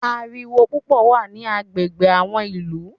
Ariwo púpọ̀ wà ní agbègbè àwọn ìlú.